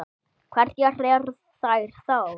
Hverjar eru þær þá?